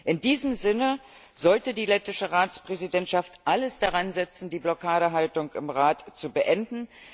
In diesem Sinne sollte die lettische Ratspräsidentschaft alles daran setzen, die Blockadehaltung im Rat zu beenden.